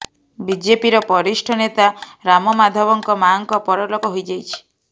ବିଜେପିର ବରିଷ୍ଠ ନେତା ରାମ ମାଧବଙ୍କ ମାଆଙ୍କ ପରଲୋକ ହୋଇଯାଇଛି